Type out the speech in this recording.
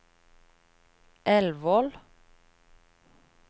Elvål